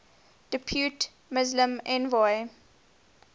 depute muslim envoy